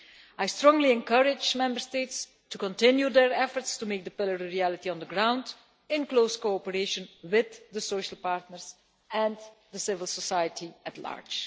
I strongly encourage Member States to continue their efforts to make the Pillar a reality on the ground, in close cooperation with the social partners and the civil society at large.